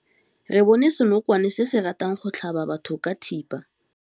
Re bone senokwane se se ratang go tlhaba batho ka thipa.